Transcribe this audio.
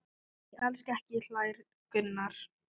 Nei, alls ekki hlær Gunnar.